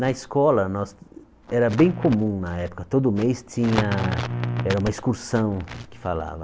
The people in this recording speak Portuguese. Na escola, nós era bem comum na época, todo mês tinha era uma excursão que falava.